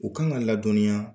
U kan ka ladɔnniya.